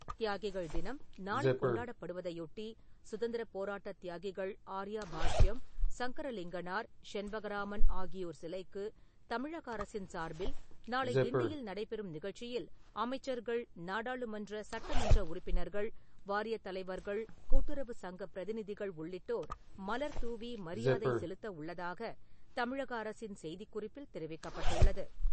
தியாகிகள் தினம், நாளை கொண்டாடப்படுவதையொட்டி, சுதந்திரப் போராட்ட தியாகிகள் ஆர்யா பாஷ்யம், சங்கரலிங்கனார், செண்பகராமன் ஆகியோர் சிலைக்கு தமிழக அரசின் சார்பில் நாளை கிண்டியில் நடைபெறும் நிகழ்ச்சியில் அமைச்சர்கள், நாடாளுமன்ற, சட்டமன்ற உறுப்பினர்கள், வாரியத் தலைவர்கள் கூட்டுறவு சங்க பிரதிநிதிகள் உள்ளிட்டோர் மலர் தூவி மரியாதை செலுத்த உள்ளதாகத் தமிழக அரசின் செய்திக்குறிப்பில் தெரிவிக்கப்பட்டுள்ளது.